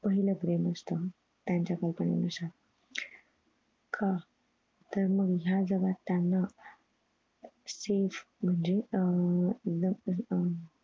पाहिलं प्रेम असत त्यांच्या company नुसार का तर मग ह्या जगात त्यांना safe म्हणजे अह अह